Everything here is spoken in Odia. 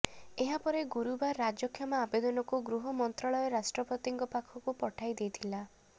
ଏହାପରେ ଗୁରୁବାର ରାଜକ୍ଷମା ଆବେଦନକୁ ଗୃହ ମନ୍ତ୍ରାଳୟ ରାଷ୍ଟ୍ରପତିଙ୍କ ପାଖକୁ ପଠାଇଦେଇଥିଲା